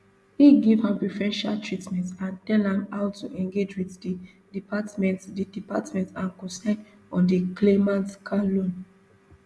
e give am preferential treatment and tell am how to engage wit di department di department and cosign on di claimant car loan